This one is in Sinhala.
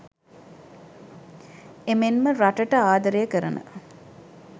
එමෙන්ම රටට ආදරය කරන